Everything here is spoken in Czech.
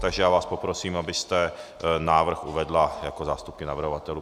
Takže já vás poprosím, abyste návrh uvedla jako zástupkyně navrhovatelů.